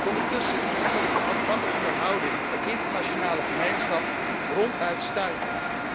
Ondertussen is natuurlijk de afwachtende houding van de internationale gemeenschap ronduit stuitend.